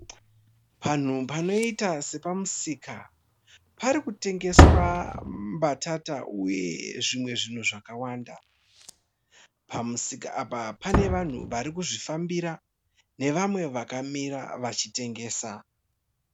Panhu panoita sepamusika, parikutengeswa mbatata uye zvimwe zvinhu zvakawanda. Pamusika apa pane vanhu varikuzvifambira nevamwe vakamira vachitengesa.